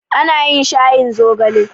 Ana yin shayin zogale.